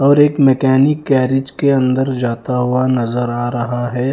और एक mechanic garage के अंदर जाता हुआ नजर आ रहा है।